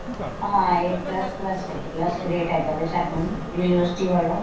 ਹਾਂ a plus plus plus grade ਹੈਗਾ ਵੀ ਸਾਨੂੰ university ਵੱਲੋਂ